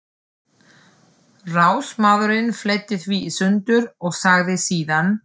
Ráðsmaðurinn fletti því í sundur og sagði síðan